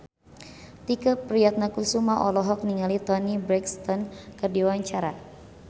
Tike Priatnakusuma olohok ningali Toni Brexton keur diwawancara